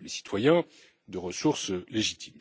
les citoyens de ressources légitimes.